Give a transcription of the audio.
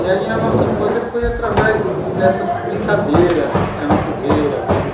E aí a nossa infância foi através dessas brincadeiras, ficar na fogueira, ver o